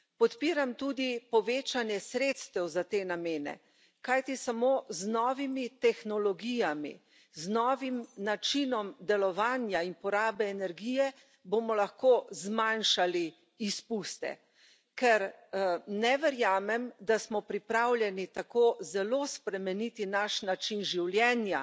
Podpiram tudi povečanje sredstev za te namene, kajti samo z novimi tehnologijami, z novim načinom delovanja in porabe energije bomo lahko zmanjšali izpuste, ker ne verjamem, da smo pripravljeni tako zelo spremeniti naš način življenja,